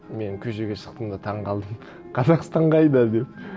мен көшеге шықтым да таңғалдым қазақстан қайда деп